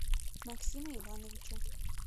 максима ивановича